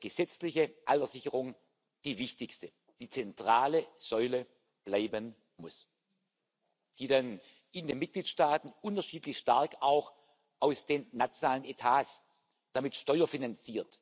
gesetzliche Alterssicherung die wichtigste, die zentrale Säule bleiben muss, die dann in den Mitgliedstaaten unterschiedlich stark aus den nationalen Etats und damit steuerfinanziert